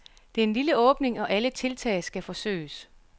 Det er en lille åbning, og alle tiltag skal forsøges.